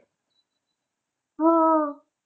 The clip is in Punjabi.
ਹਾਂ।